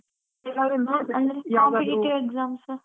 Competitive exams .